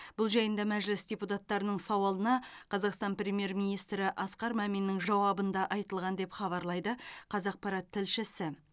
бұл жайында мәжіліс депутаттарының сауалына қазақстан премьер министрі асқар маминнің жауабында айтылған деп хабарлайды қазақпарат тілшісі